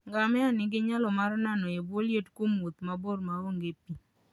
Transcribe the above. Ngamia nigi nyalo mar nano e bwo liet kuom wuoth mabor ma onge pi.